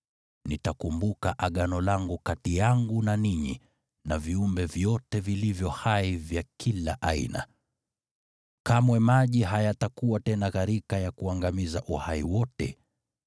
nitakumbuka Agano langu kati yangu na ninyi na viumbe vyote vilivyo hai vya kila aina. Kamwe maji hayatakuwa tena gharika ya kuangamiza uhai wote.